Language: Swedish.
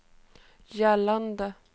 gällande